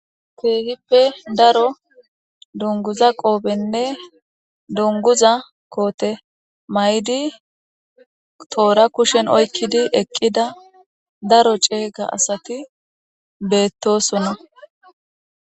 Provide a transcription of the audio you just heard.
Kehippe daro dunguza qophenee duniguza kote ma'idi tora kushen oyiqidi eqida daro cega asati betosona